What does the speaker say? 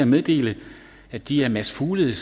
meddele at de af mads fuglede